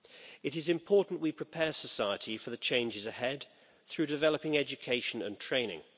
It is important that we prepare society for the changes ahead through developing education and training.